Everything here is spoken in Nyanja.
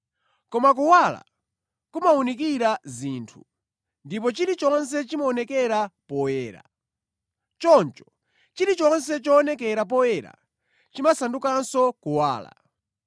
Koma kuwala kumawunikira zinthu, ndipo chilichonse chimaonekera poyera. Choncho chilichonse choonekera poyera chimasandukanso kuwala.